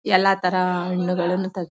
ಎಲ್ಲಾ ತರ ಹಣ್ಣುಗಳನ್ನ ತೆಗ್ದಿ --